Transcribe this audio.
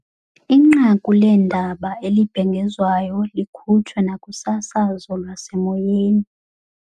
Inqaku leendaba elibhengezwayo likhutshwe nakusasazo lwasemoyeni.